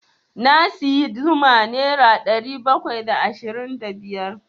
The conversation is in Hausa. Na sayi zuma nera ɗari bakwai da ashirin da biyar.